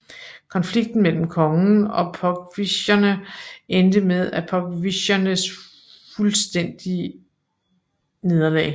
Konflikten mellem kongen og pogwischerne endte med Pogwischernes fuldstændige nederlag